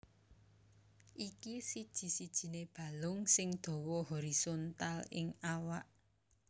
Iki siji sijiné balung sing dawa horizontal ing awak